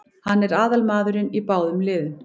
Hann er aðalmaðurinn í báðum liðum.